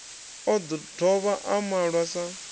o dovha a malwa sa